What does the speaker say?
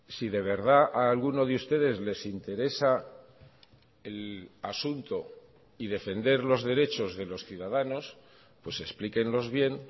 si de verdad a alguno de ustedes les interesa el asunto y defender los derechos de los ciudadanos pues explíquenlos bien